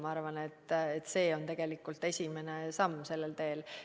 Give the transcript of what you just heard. Ma arvan, et see on tegelikult esimene samm sellel teel.